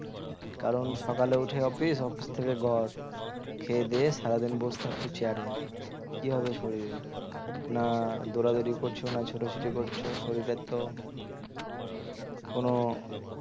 কারণ সকালে উঠে office office থেকে ঘর খেয়ে দেয়ে সারাদিন বসে থাকছো chair এ কি হবে শরীরের না দৌড়াদৌড়ি করছ না ছোটাছুটি করছো শরীরের তো কোন